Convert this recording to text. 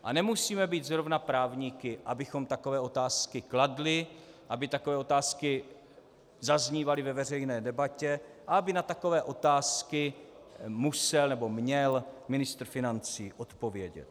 A nemusíme být zrovna právníky, abychom takové otázky kladli, aby takové otázky zaznívaly ve veřejné debatě a aby na takové otázky musel nebo měl ministr financí odpovědět.